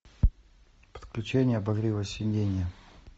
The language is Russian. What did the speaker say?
подключение обогрева сидения